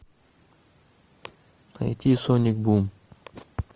найти соник бум